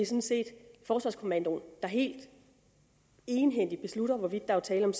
set forsvarskommandoen der helt egenhændigt beslutter hvorvidt der er tale om